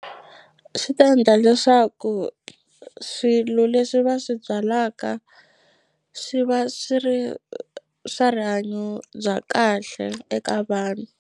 Swi ta endla leswaku swilo leswi va swi byalaka swi va swi ri swa rihanyo bya kahle eka vanhu.